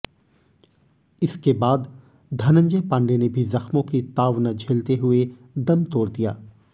इसके बाद धनंजय पांडे ने भी जख्मों की ताव न झेलते हुए दम तोड़ दिया